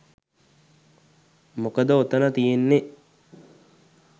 මොකද ඔතන තියෙන්නෙ